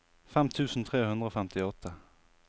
fem tusen tre hundre og femtiåtte